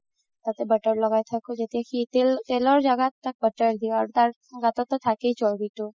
তাতে butter লগাই থাকো যেতিয়া সি তেলৰ জাগাত তাত butter দিও আৰু তাৰ গাততো থাকেই চৰবিতো